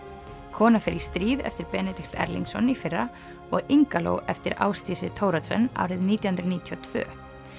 kona fer í stríð eftir Benedikt Erlingsson í fyrra og eftir Ásdísi Thoroddsen árið nítján hundruð níutíu og tvö